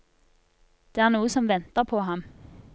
Det er noe som venter på ham.